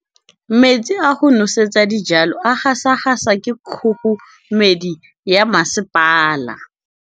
Metsi a go nosetsa dijalo a gasa gasa ke kgogomedi ya masepala.